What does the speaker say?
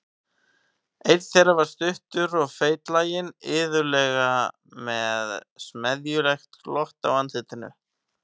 Einn þeirra var stuttur og feitlaginn, iðulega með smeðjulegt glott á andlitinu.